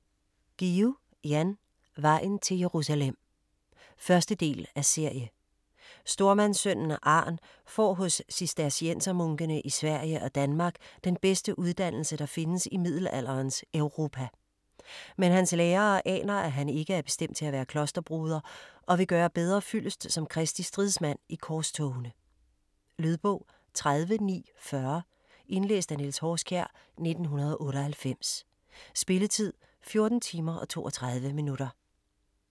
Guillou, Jan: Vejen til Jerusalem 1. del af serie. Stormandssønnen Arn får hos cisterciensermunkene i Sverige og Danmark den bedste uddannelse, der findes i middelalderens Europa. Men hans lærere aner, at han ikke er bestemt til at være klosterbroder og vil gøre bedre fyldest som Kristi stridsmand i korstogene. Lydbog 30940 Indlæst af Niels Horskjær, 1998. Spilletid: 14 timer, 32 minutter.